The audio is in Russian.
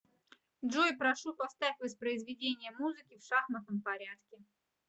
джой прошу поставь воспроизведение музыки в шахматном порядке